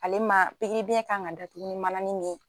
Ale man pikiribiyɛn kan ka datugu ni mananin min ye.